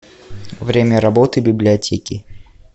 время работы библиотеки